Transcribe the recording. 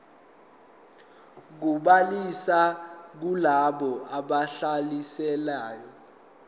kobhaliso kulabo ababhalisile